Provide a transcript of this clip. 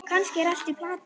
Kannski er allt í plati.